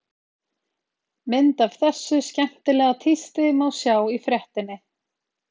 Mynd af þessu skemmtilega tísti má sjá í fréttinni.